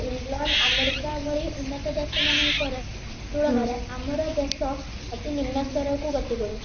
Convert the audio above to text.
England America ଭଳି ଉନ୍ନତ ଦେଶ ମାନଙ୍କରେ ତୁଳନାରେ ଆମର ଦେଶ ଅତି ନିମ୍ନ ସ୍ତରକୁ ଗତି କରୁଛି